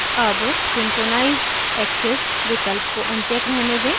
अब synchronize axes विकल्प को अनचेक रहने दें